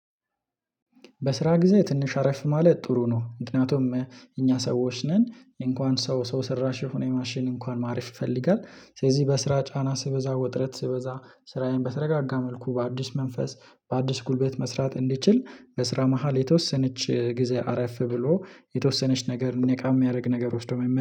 በስራ ጊዜ ትንሽ አረፍ ማለት ጥሩ ነው። ምክንያቱም እኛ ሰዎች ነን እንኳን ሰው ሰው ሰራሽ የሆነ የማሽን እንኳን ማረፍ ይፈልጋል። ስለዚህ በስራ ጫና ሲበዛ ውጥረት ስበዛ ስራዬን በተረጋጋ መልኩ በአዲስ መንፈስ። በአዲስ ጉልበት መስራት እንድችል በስራ መሃል የተወሰነች ጊዜ አረፍ ብሎ የተወሰነች ነገር ነቃ የሚያደርግ ነገር ወስዶ መነ